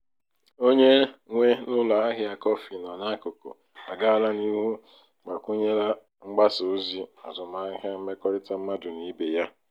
onye nwe n'ụlọ ahịa kọfị nọ n'akụkụ agaala n'ihu gbakwụnyela mgbasa ozi azụmahịa mmekọrịta mmadụ na ibe ya.